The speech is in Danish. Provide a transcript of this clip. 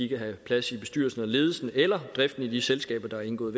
kan have plads i bestyrelsen eller ledelsen eller driften af de selskaber der er indgået